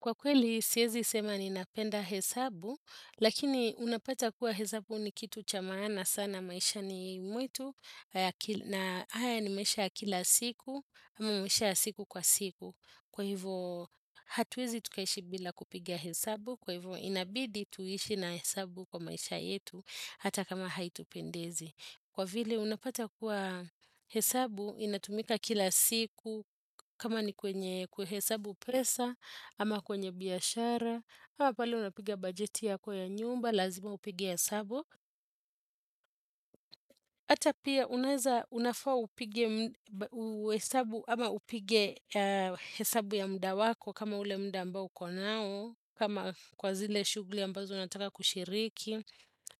Kwa kweli, siezi sema ni napenda hesabu, lakini unapata kuwa hesabu ni kitu chamana sana maisha ni mwetu, na haya ni mesha kila siku, ama mesha siku kwa siku. Kwa hivyo, hatuwezi tukaishi bila kupigia hesabu, kwa hivyo inabidi tuishi na hesabu kwa maisha yetu, hata kama haitu pendezi. Kwa vile unapata kuwa hesabu, inatumika kila siku kama ni kwenye kwe hesabu presa, ama kwenye biashara, ama pale unapiga bajeti ya kwa ya nyumba, lazima upige hesabu. Hata pia unafaa upige hesabu ya mda wako kama ule mda ambao konao, kama kwa zile shugli ambazo unataka kushiriki,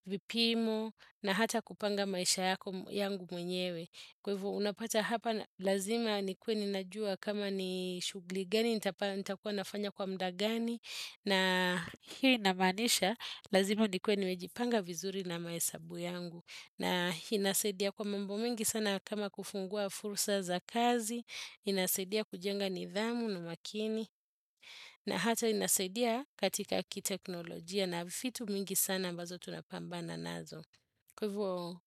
vipimo, na hata kupanga maisha yangu mwenyewe. Kwa hivo unapata hapa lazima nikwe ninajua kama ni shugli gani nitakua nafanya kwa mdagani na hini nabadisha lazima nikwe nimejipanga vizuri na maesabu yangu na inasedia kwa membo mingi sana kama kufungua fursa za kazi, inasedia kujenga nidhamu na makini na hata inasedia katika kiteknolojia na vifitu mingi sana mbazo tunapambana nazo. Kwa hivyo,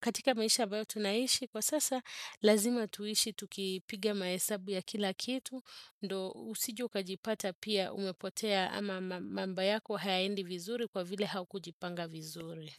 katika maisha bayo tunaishi, kwa sasa lazima tuishi tukipiga maesabu ya kila kitu, ndo usiju kajipata pia umepotea ama mamba yako haiendi vizuri kwa vile haukujipanga vizuri.